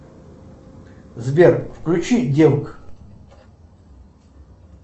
сбер включи девок